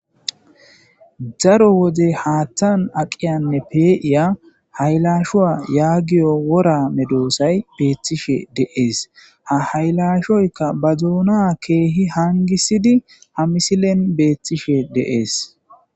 daro wode haatthan aqiyanne pee7iya haylashuwa yaagiyo wora medoosay beeththishe deees ha haylashoyka ba duuna keehi hangisidi ha misilen beethtishe deees